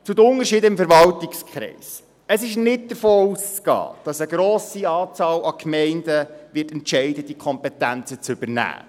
Zu den Unterschieden innerhalb des Verwaltungskreises: Es ist nicht davon auszugehen, dass eine grosse Anzahl Gemeinden entscheiden wird, diese Kompetenzen zu übernehmen.